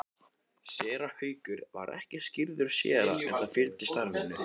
Séra Haukur var ekki skírður séra en það fylgir starfinu.